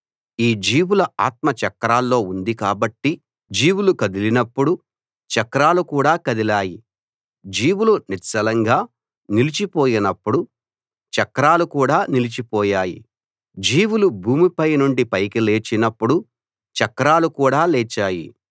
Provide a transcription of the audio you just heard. ఈ జీవుల ఆత్మ చక్రాల్లో ఉంది కాబట్టి జీవులు కదిలినప్పుడు చక్రాలు కూడా కదిలాయి జీవులు నిశ్చలంగా నిలిచిపోయినప్పుడు చక్రాలు కూడా నిలిచిపోయాయి జీవులు భూమిపై నుండి పైకి లేచినప్పుడు చక్రాలు కూడా లేచాయి